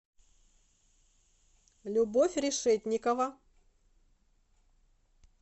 любовь решетникова